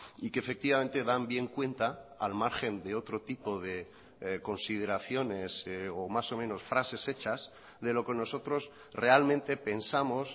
y que efectivamente dan bien cuenta al margen de otro tipo de consideraciones o más o menos frases hechas de lo que nosotros realmente pensamos